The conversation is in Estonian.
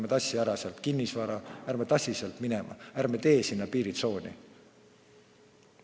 Ärme tassime ära sealt kinnisvara, ärme tassime sealt kõike minema, ärme teeme sinna piiritsooni!